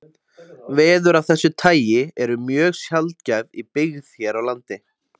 Veður af þessu tagi eru mjög sjaldgæf í byggð hér á landi.